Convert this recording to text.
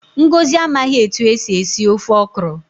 Ngọzi amaghị etu esi esi ofe okro